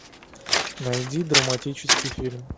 найди драматический фильм